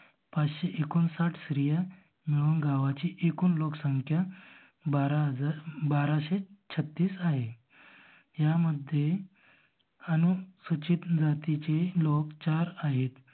पाचशे एककोण साठ स्त्रिया मिळून गावाची एकूण लोक संख्या बारा हजार बाराशे छत्तीस आहे. ह्या मध्ये अनुसूचीत जातीचे लोक चार आहेत.